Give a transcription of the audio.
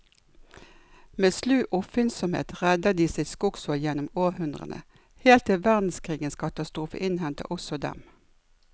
Med slu oppfinnsomhet redder de sitt skogsfolk gjennom århundrene, helt til verdenskrigens katastrofe innhenter også dem.